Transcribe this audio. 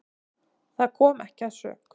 Það kom ekki að sök.